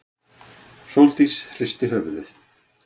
Sóldís hristi höfuðið.